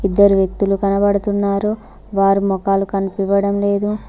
ఇద్దరు వ్యక్తులు కనబడుతున్నారు వారి మొకాలు కనిపివ్వడం లేదు.